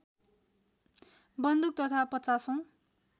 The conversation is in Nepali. बन्दुक तथा पचासौँ